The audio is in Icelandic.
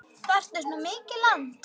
Þarftu svona mikið land?